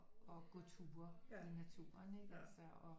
Gå ture i naturen ikke altså og